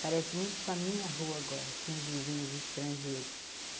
Parece muito com a minha rua agora, tinha os vizinhos estrangeiros.